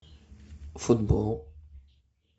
футбол